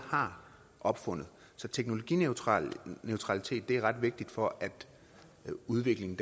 har opfundet så teknologineutralitet er ret vigtigt for at udviklingen